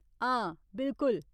हां, बिलकुल।